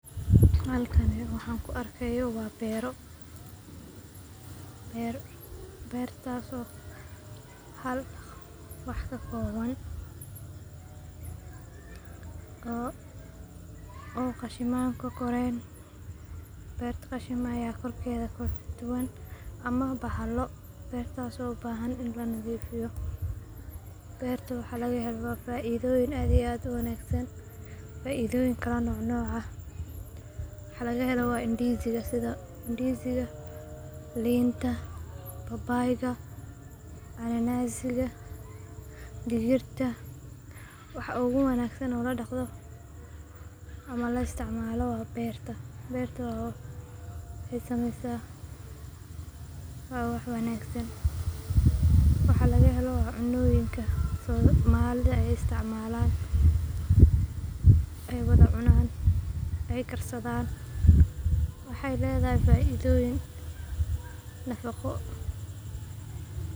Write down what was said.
Halkani waxaan ku arkaayo waa beero, beertaas oo hal wax kakooban, oo qashimaan kokoreen, beertaas oo ubahan in lanadiifiyo, beerta waxa laga helo waa faidooyin aad iyo aad uwanagsan, faidooyin kala nooc nooc ah, waxa laga helo sida ndiziga, liinta, babaayga, cananaaziga, digirta, waxa oo ogu wanagsan oo ladaqdo ama la isticmaalo waa beerta, beerta waxeey sameysa wax wanagsan, waxa laga helo waa cuntooyinka aay somalida isticmaalan, aay wada cunaan, aay karsadaan, waxeey ledahay faaidoyin nafaqo.